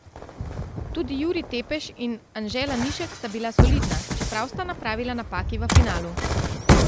Tudi Jurij Tepeš in Anže Lanišek sta bila solidna, čeprav sta napravila napaki v finalu.